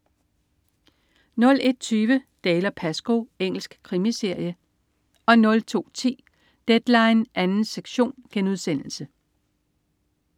01.20 Dalziel & Pascoe. Engelsk krimiserie 02.10 Deadline 2. sektion*